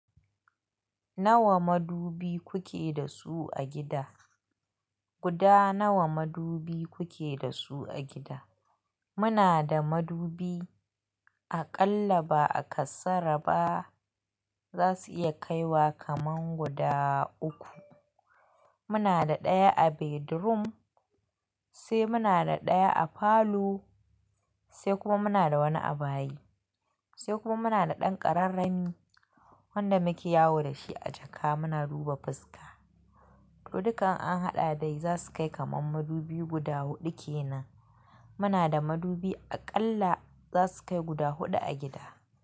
Nawa madubi kuke da su a gida? Guda nawa madubi kuke da su a gida? Muna da madubi aƙalla ba a kasara ba za su iya kaiwa kaman guda uku. Muna da ɗaya a bedroom, sai muna da ɗaya a falo, sai kuma muna da wani a bayi, sai kuma muna da ɗan ƙararrami wanda muke yawo da shi a jaka muna duba fuska. To duka in an haɗa dai za su kai kaman madubi guda huɗu kenan. Muna da madubi aƙalla za su kai guda huɗu a gida.